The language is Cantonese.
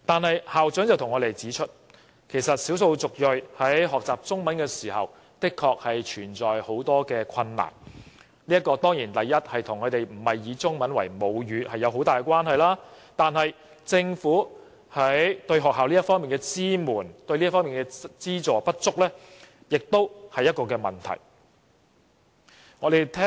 可是，校長亦向我們指出，少數族裔學習中文存在不少困難，這方面固然與他們並非以中文為母語有莫大關係，但政府對學校的支援和資助不足也是問題。